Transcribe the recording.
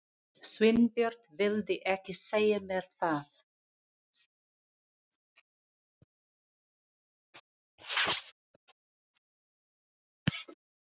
Sveinbjörn vildi ekki segja mér það.